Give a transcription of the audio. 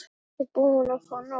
Ertu ekkert búin að fá nóg?